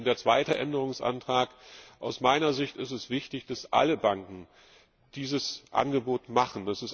Und der zweite Änderungsantrag Aus meiner Sicht ist es wichtig, dass alle Banken dieses Angebot machen.